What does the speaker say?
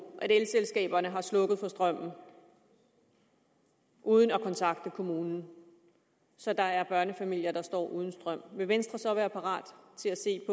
at elselskaberne har slukket for strømmen uden at kontakte kommunen så der er børnefamilier der står uden strøm vil venstre så være parat til at se